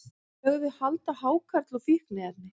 Lögðu hald á hákarl og fíkniefni